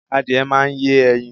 Adìẹ máa yẹ ẹyin